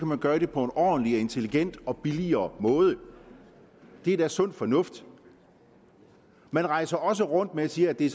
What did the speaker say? man gøre det på en ordentlig intelligent og billigere måde det er da sund fornuft man rejser også rundt og siger at det er